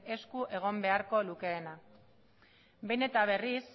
esku egon beharko lukeena behin eta berriz